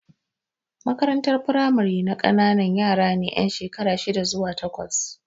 Makarantar firamare na ƙanana yara ne yan shekara shida zuwa takwas.